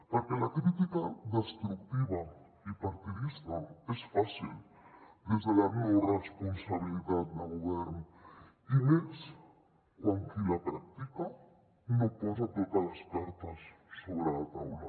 perquè la crítica destructiva i partidista és fàcil des de la no responsabilitat de govern i més quan qui la practica no posa totes les cartes sobre la taula